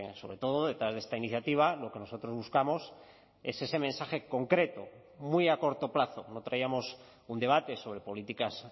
sobre todo detrás de esta iniciativa lo que nosotros buscamos es ese mensaje concreto muy a corto plazo no traíamos un debate sobre políticas